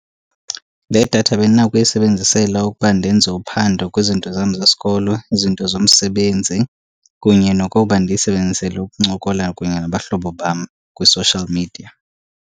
Le datha bendinakho uyisebenzisela ukuba ndenze uphando kwizinto zam zesikolo, izinto zomsebenzi kunye nokoba ndiyisebenzisele ukuncokola kunye nabahlobo bam kwi-social media.